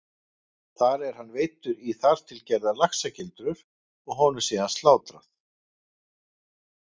Þar er hann veiddur í þar til gerðar laxagildrur og honum síðan slátrað.